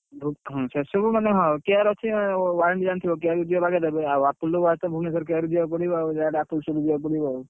ସେ ସବୁ ମାନେ ହଁ care ଅଛି warranty ଜାଣିଥିବ ଆଉ Apple watch ତ ଭୁବନେଶ୍ୱର care କୁ ଯିବା କୁ ପଡିବ ଯାହା ବି ହେଲେ Apple set ରେ ଯିବା କୁ ପଡିବ ଆଉ।